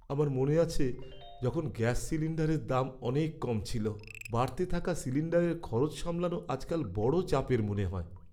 আমার মনে আছে, যখন গ্যাস সিলিণ্ডারের দাম অনেক কম ছিল। বাড়তে থাকা সিলিণ্ডারের খরচ সামলানো আজকাল বড় চাপের মনে হয়।